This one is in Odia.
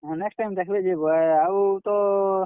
ହଁ next time ଦେଖ୍ ବେ ଯେ ବ ଆଉ ତ,